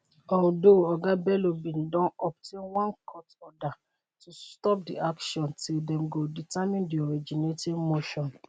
although oga bello bin don obtain one court order to stop di action till dem go determine di originating motion.